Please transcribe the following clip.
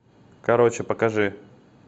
короче покажи